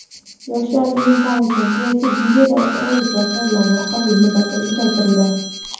"Yoshlar ilm-fan uchun" kreativ videoroliklar tanlovi qabul muddati uzaytirildi.